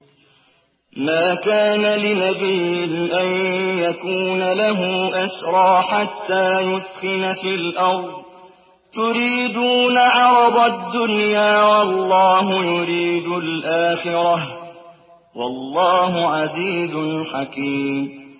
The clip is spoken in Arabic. مَا كَانَ لِنَبِيٍّ أَن يَكُونَ لَهُ أَسْرَىٰ حَتَّىٰ يُثْخِنَ فِي الْأَرْضِ ۚ تُرِيدُونَ عَرَضَ الدُّنْيَا وَاللَّهُ يُرِيدُ الْآخِرَةَ ۗ وَاللَّهُ عَزِيزٌ حَكِيمٌ